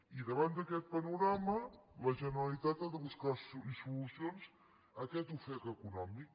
i davant d’aquest panorama la generalitat ha de buscar solucions a aquest ofec econòmic